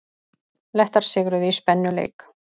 Lettar sigruðu í spennuleik